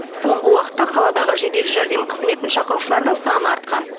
соңғы уақытта қаладағы жедел жәрдем қызметін шақырушылардың саны артқан